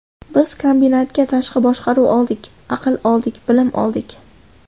Biz kombinatga tashqi boshqaruv oldik, aql oldik, bilim oldik.